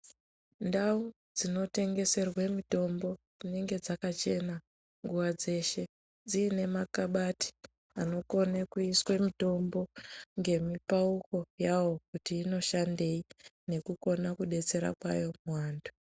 Ndau dzinotengeserwe mitombo dzinenge dzakachena nguwa dzeshe. Dziine makhabati anokona kuiswe mitombo, ngemipauko yawo kuti inoshandei nekukona kudetsera kwayo muvantu.